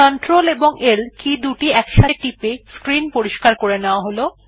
সুবিধার জন্য CltL একসাথে টিপে স্ক্রিন পরিস্কার করে নেওয়া যাক